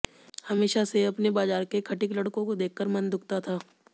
हमेशा से अपने बाजार के खटिक लड़कों को देखकर मन दुःखता था